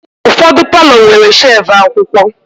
Ụfọdụ palọ nwere shevu akwụkwọ.